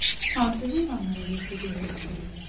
Hansı heyvanlara yırtıcı heyvan deyirlər?